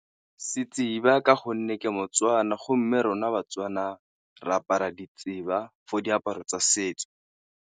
ka gonne ke mo-Tswana, go mme rona ba-Tswana re apara for diaparo tsa setso.